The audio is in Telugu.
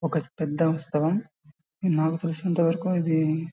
ఒక పెద్ద ఉత్సవం. ఇది నాకు తెలిసినంతవరకు ఇదీ--